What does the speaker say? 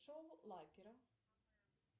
шоу лакера